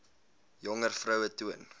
jonger vroue toon